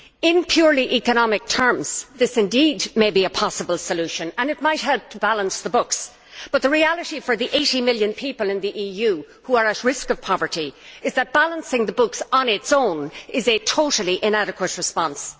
In purely economic terms, this may indeed be a possible solution and it might help to balance the books, but the reality for the 80 million people in the EU who are at risk of poverty is that balancing the books on its own is a totally inadequate response.